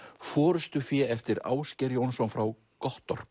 forystufé eftir Ásgeir Jónsson frá